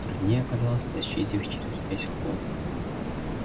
труднее оказалось тащить их через весь холл